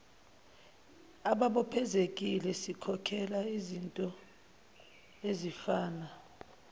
ababophezekile sikhokhela izintoezifana